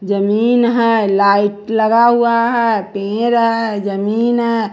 जमीन है लाइट लगा हुआ है पेर है जमीन है।